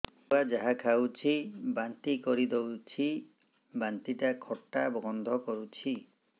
ଛୁଆ ଯାହା ଖାଉଛି ବାନ୍ତି କରିଦଉଛି ବାନ୍ତି ଟା ଖଟା ଗନ୍ଧ କରୁଛି